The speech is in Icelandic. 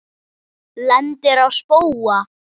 Lendir á spóa.